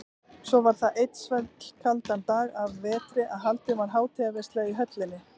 Svo var það einn svellkaldan dag að vetri að haldin var hátíðarveisla í höllinni.